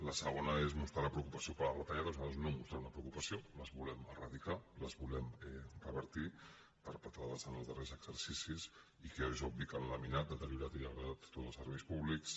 la segona és mostrar la preocupació per les retalla·des nosaltres no mostrem una preocupació les volem eradicar les volem revertir perpetrades en els darrers exercicis i que és obvi que han laminat deteriorat i degradat tots els serveis públics